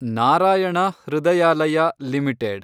Narayana Hrudayalaya limited